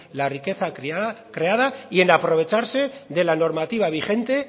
la riqueza creada y en aprovecharse de la normativa vigente